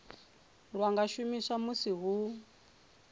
lwa nga shumiswa musi hu